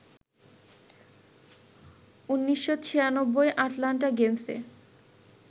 ১৯৯৬ Atlanta গেমসে